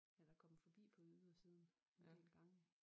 Jeg da kommet forbi på ydersiden en del gange